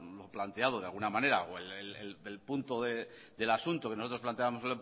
lo planteado de alguna manera o el punto del asunto que nosotros planteábamos